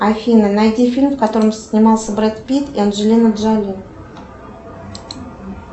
афина найди фильм в котором снимался бред питт и анджелина джоли